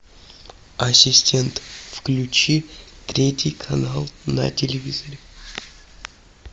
ассистент включи третий канал на телевизоре